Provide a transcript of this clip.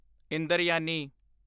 Indrayani